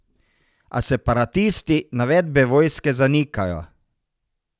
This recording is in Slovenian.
A separatisti navedbe vojske zanikajo.